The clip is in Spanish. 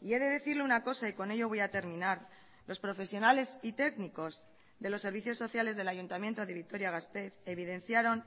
y he de decirle una cosa y con ello voy a terminar los profesionales y técnicos de los servicios sociales del ayuntamiento de vitoria gasteiz evidenciaron